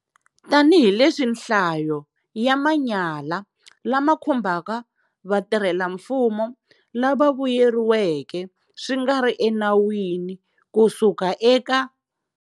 Tanihileswi nhlayo ya manyala lama khumbaka vatirhelamfumo lava vuyeriweke swi nga ri enawini ku suka eka.